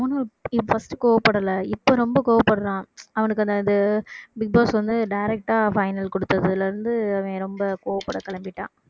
அவனும் first உ கோவப்படல இப்ப ரொம்ப கோபப்படறான் அவனுக்கு அந்த இது பிக் பாஸ் வந்து direct ஆ final கொடுத்ததுல இருந்து அவன் ரொம்ப கோவப்பட கிளம்பிட்டான்